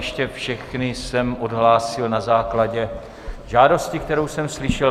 Ještě všechny jsem odhlásil na základě žádosti, kterou jsem slyšel.